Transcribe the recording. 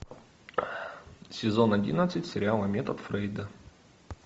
сезон одиннадцать сериала метод фрейда